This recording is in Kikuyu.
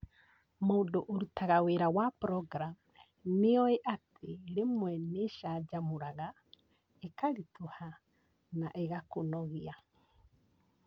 mũndũ ũrutaga wĩra wa programu nĩoĩ atï rĩmwe nĩĩcanjamũraga, karitũha na ĩgakũnogia